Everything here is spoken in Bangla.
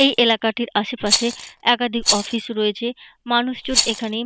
এই এলাকাটির আশেপাশে একাধিক অফিস রয়েছে মানুষজন এখানে।